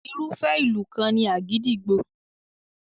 Irúfẹ́ ìlù kan ni àgídìgbo.